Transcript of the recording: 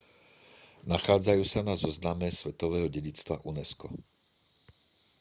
nachádzajú sa na zozname svetového dedičstva unesco